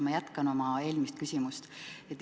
Ma jätkan oma eelmist küsimust.